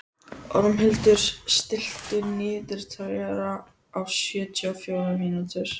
Ormhildur, stilltu niðurteljara á sjötíu og fjórar mínútur.